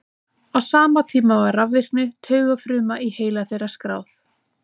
á sama tíma var rafvirkni taugafruma í heila þeirra skráð